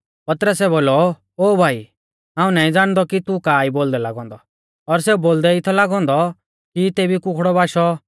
पतरसै बोलौ ओ भाई हाऊं नाईं ज़ाणदौ कि तू का ई बोलदै लागौ औन्दौ और सेऊ बोलदै ई थौ लागौ औन्दौ कि तेबी कुखड़ौ बाशौ